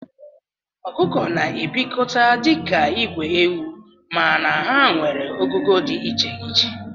Okụkọ na ebikọta dika igwe ewu mana ha nwere ogugo di icheiche.